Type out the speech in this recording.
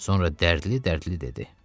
Sonra dərdli-dərdli dedi: